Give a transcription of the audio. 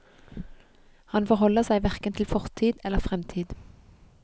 Han forholder seg hverken til fortid eller fremtid.